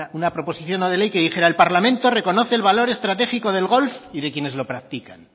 una proposición no de ley que dijera el parlamento reconoce el valor estratégico del golf y de quienes lo practican